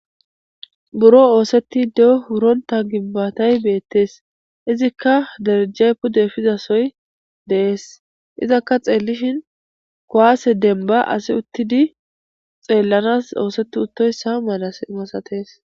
buro oosetti de7o huronta gibbatay beettees izikka derejjay pude efizasoy deees izakka xeellishin kowaase demba asi uttidi xeellanas oosetti uttoyssa mala imasatees